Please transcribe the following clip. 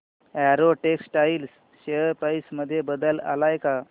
Arrow Textiles share price मध्ये बदल आलाय का